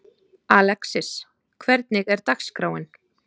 Alexis, hvernig er dagskráin?